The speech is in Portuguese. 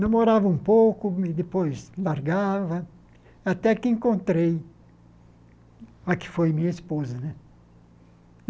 Namorava um pouco, e depois largava, até que encontrei a que foi minha esposa né.